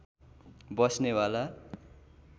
बस्ने वाला